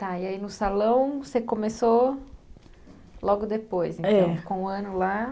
Tá, e aí no salão você começou logo depois, é, então ficou um ano lá.